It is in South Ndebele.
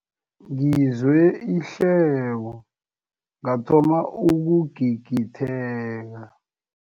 Ngizwe ihleko ngathoma ukugigitheka.